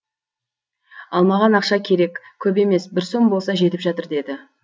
ал маған ақша керек көп емес бір сом болса жетіп жатыр деді